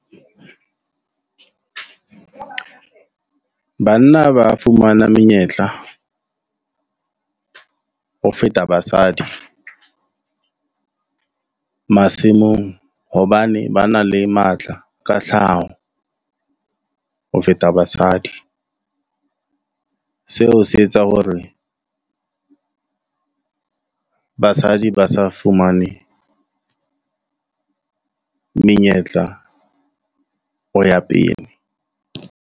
Banna ba fumana menyetla ho feta basadi masimong, hobane ba na le matla ka tlhaho ho feta basadi. Seo se etsa hore basadi ba sa fumane menyetla ho ya pele.